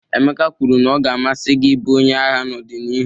Emeka kwuru na ọ ga-amasị gị ịbụ onye agha n'ọdịnihu.